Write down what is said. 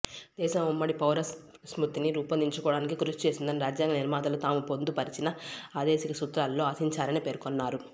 దేశం ఉమ్మడి పౌరస్మృతిని రూపొందించుకోవడానికి కృషి చేస్తుందని రాజ్యాంగ నిర్మాతలు తాము పొందుపరచిన ఆదేశిక సూత్రాలలో ఆశించారని పేర్కొన్నారు